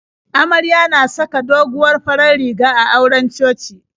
Amarya na saka doguwar farar riga a auren coci.